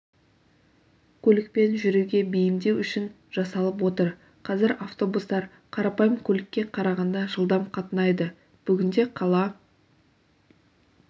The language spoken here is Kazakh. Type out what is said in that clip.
көлікпен жүруге бейімдеу үшін жасалып отыр қазір автобустар қарапайым көлікке қарағанда жылдам қатынайды бүгінде қала